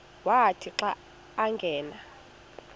wathi xa angena